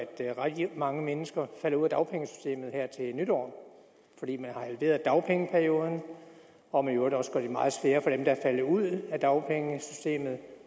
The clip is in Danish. at rigtig mange mennesker falder ud af dagpengesystemet her til nytår fordi man har halveret dagpengeperioden og man i øvrigt også gør det meget sværere for dem der er faldet ud af dagpengesystemet